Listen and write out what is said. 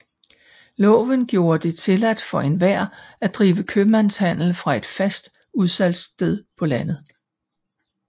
Loven gjorde det tilladt for enhver at drive købmandshandel fra et fast udsalgssted på landet